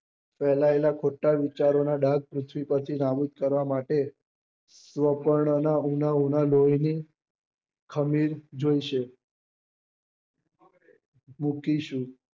ફેલાયેલા ખોટા વિચારો નાં ડાગ પૃથ્વી પર થી નાબુદ કરવા માટે લોહી ની ખમીર જોઇશે મુઠી શું